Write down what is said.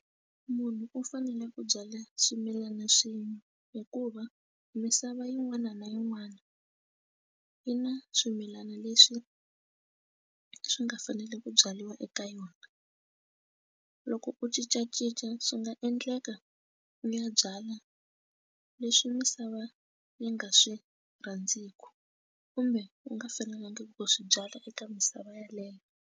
Munhu u fanele ku byala swimilana swin'we hikuva misava yin'wana na yin'wana yi na swimilana leswi swi nga fanele ku byariwa eka yona loko u cincacinca swi nga endleka u ya byala leswi misava yi nga swi rhandziku kumbe u nga fanelangiku ku swi byala eka misava yeleyo.